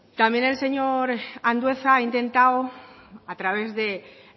también el señor andueza ha intentado a través de